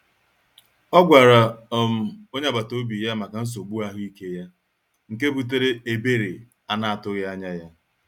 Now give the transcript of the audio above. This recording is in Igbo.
Ọ gwara um onye agbata obi ya maka nsogbu ahụike ya, nke butere ebere a na-atụghị anya ya.